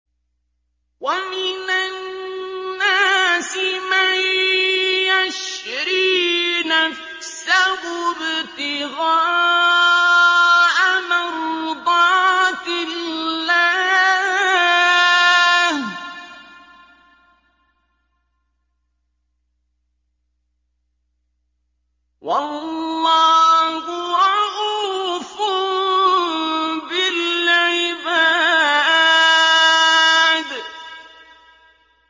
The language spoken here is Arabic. وَمِنَ النَّاسِ مَن يَشْرِي نَفْسَهُ ابْتِغَاءَ مَرْضَاتِ اللَّهِ ۗ وَاللَّهُ رَءُوفٌ بِالْعِبَادِ